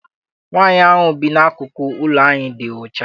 Nwaanyi ahụ bi n'akụkụ ụlọ anyị dị ọcha.